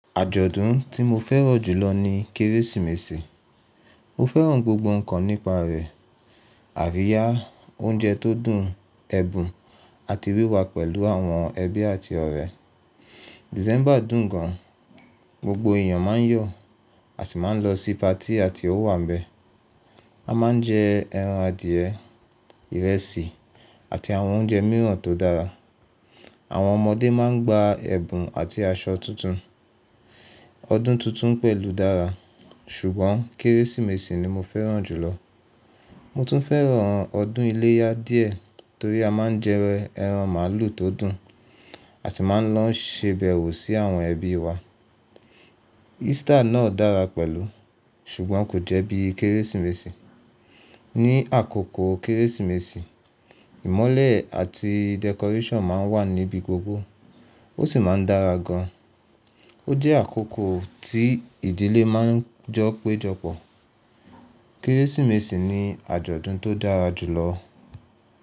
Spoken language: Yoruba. Àjọ̀dún tí mo fẹ́ràn jùlọ ni Kérésìmesì. Mo fẹ́ràn gbogbo ǹkan nípa rẹ̀: àríyá, oúnjẹ tó dùn, ẹ̀bùn àti wíwà pẹ̀lú àwọn ẹbí àti ọ̀rẹ́. Dísẹ́mbà dùn gan. Gbogbo èèyàn máa ń yọ̀, a sì máa ń lọ sí patí àti ọwabẹ̀. A máa ń jẹ ẹran adìẹ, ìrẹsì àti àwọn oúnjẹ mìíràn tó dára. Àwọn ọmọdé máa ń gba ẹ̀bùn àti aṣọ tuntun. Ọdún tuntun pẹ̀lú dára, ṣùgbọ́n Kérésìmesì ni mo fẹ́ràn jùlọ. Mo tún fẹ́ràn ọdún iléyá díẹ̀ torí a máa ń jẹ ẹran màlúù tó dùn, a sì máa ń lọ ṣèbẹ̀wò sí àwọn ẹbí wa. Easter náà dára pẹ̀lú, ṣùgbọ́n kò jẹ́ bí Kérésìmesì. Ni àkókò Kérésìmesì, ìmọ́lẹ̀ àti decoration máa ń wà níbi gbogbo, ó sì máa ń dára gan. Ó jẹ́ àkókò tí ìdílé máa ń jọ péjọpọ̀. Kérésìmesì ni àjọ̀dún tó dára jùlọ.